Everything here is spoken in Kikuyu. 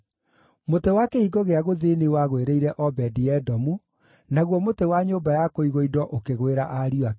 Mũtĩ wa Kĩhingo gĩa Gũthini wagwĩrĩire Obedi-Edomu, naguo mũtĩ wa nyũmba-ya-kũigwo-indo ũkĩgwĩra ariũ ake.